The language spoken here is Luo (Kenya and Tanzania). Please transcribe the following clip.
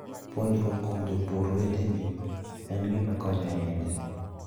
Puonjruok kuom jopur weteni en gima konyo ahinya.